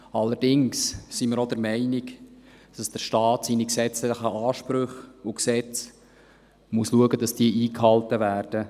Allerdings sind wir auch der Meinung, dass der Staat schauen muss, dass seine gesetzlichen Ansprüche und seine Gesetze eingehalten werden.